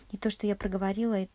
то что я поговорила